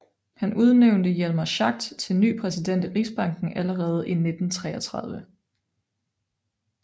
Han udnævnte Hjalmar Schacht til ny præsident i Rigsbanken allerede i 1933